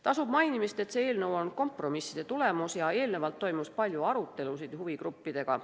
Tasub mainimist, et see eelnõu on kompromisside tulemus ja eelnevalt toimus palju arutelusid huvigruppidega.